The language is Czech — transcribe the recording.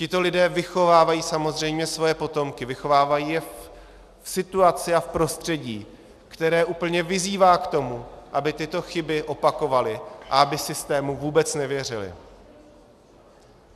Tito lidé vychovávají samozřejmě své potomky, vychovávají je v situaci a v prostředí, které úplně vyzývá k tomu, aby tyto chyby opakovali a aby systému vůbec nevěřili.